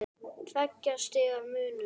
Tveggja stiga munur.